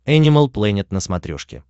энимал плэнет на смотрешке